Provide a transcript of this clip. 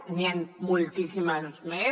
n’hi han moltíssimes més